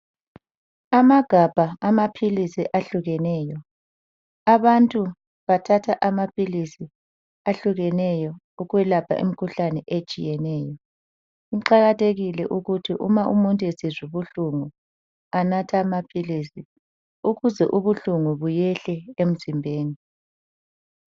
Amagabha amaphilisi ahlukeneyo. Abantu bathatha amaphilisi ahlukeneyo ukwelapha imkhuhlane etshiyeneyo. Kuqakathekile ukuthi uma umuntu esizwa ubuhlungu anathe amaphilisi ukuze ubuhlungu behle emzimbeni.